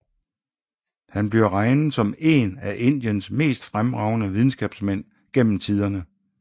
Han bliver regnet som en af Indiens mest fremragende videnskabsmænd gennem tidende